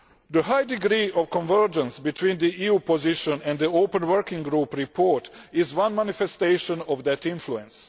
The high degree of convergence between the EU position and the open working group report is one manifestation of that influence.